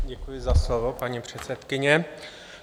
Děkuji za slovo, paní předsedkyně.